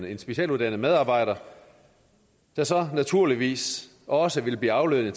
en specialuddannet medarbejder der så naturligvis også vil blive aflønnet